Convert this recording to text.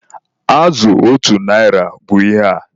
Azụ otu narị bụ ihe a.